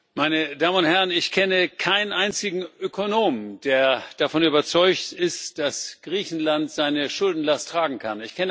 Herr Präsident, meine Damen und Herren! Ich kenne keinen einzigen Ökonom, der davon überzeugt ist, dass Griechenland seine Schuldenlast tragen kann.